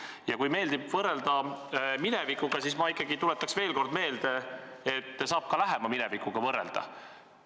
Aga kui meeldib võrrelda minevikuga, siis ma tuletan veel kord meelde, et saab ka lähema minevikuga võrrelda.